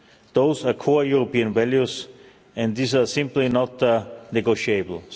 Those are core European values and these are simply not negotiable.